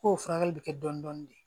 K'o furakɛli bɛ kɛ dɔndɔni de